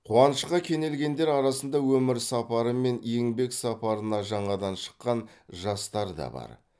қуанышқа кенелгендер арасында өмір сапары мен еңбек сапарына жаңадан шыққан жастар да бар